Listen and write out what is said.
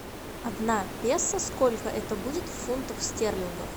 одна песо сколько это будет фунтов стерлингов